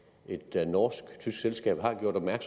at gå